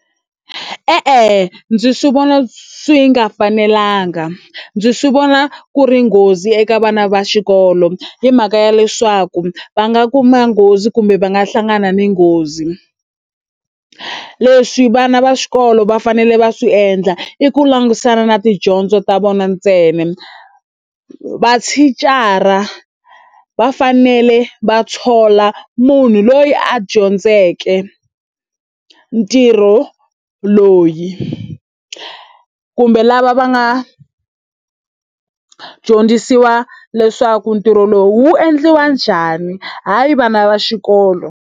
E-e, ndzi swi vona swi nga fanelanga, ndzi swi vona ku ri nghozi eka vana va xikolo. Hi mhaka ya leswaku va nga kuma nghozi kumbe va nga hlangana ni nghozi. Leswi vana va xikolo va fanele va swi endla i ku langutisana na tidyondzo ta vona ntsena, mathicara va fanele va thola munhu loyi a dyondzeke ntirho loyi. Kumbe lava va nga dyondzisiwa leswaku ntirho lowu wu endliwa njhani, hayi vana va xikolo.